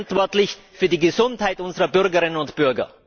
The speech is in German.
Wir sind verantwortlich für die Gesundheit unserer Bürgerinnen und Bürger!